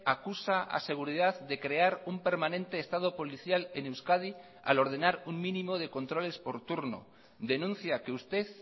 acusa a seguridad de crear un permanente estado policial en euskadi al ordenar un mínimo de controles por turno denuncia que usted